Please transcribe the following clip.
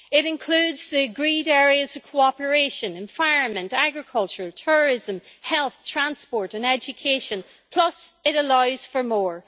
It includes the agreed areas of cooperation environment, agriculture, tourism, health, transport and education plus it allows for more.